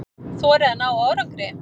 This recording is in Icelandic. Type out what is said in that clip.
Þorið að ná árangri.